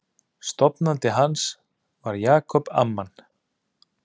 Stofnandi hans var Jacob Amman.